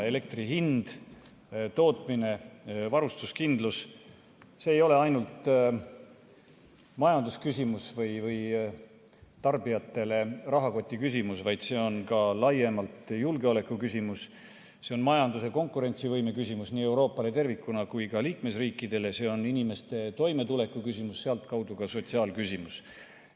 Elektri hind, selle tootmine ja varustuskindlus ei ole ainult majandusküsimus või tarbijate rahakoti küsimus, vaid see on ka laiemalt julgeolekuküsimus, see on majanduse konkurentsivõime küsimus nii Euroopale tervikuna kui ka liikmesriikidele, see on inimeste toimetuleku küsimus, sealtkaudu ka sotsiaalküsimus.